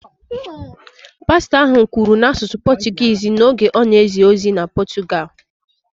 Pastọ ahụ kwuru n’asụsụ Pọtụgụisi n’oge ọ na-ezi ozi na Pọtụgalụ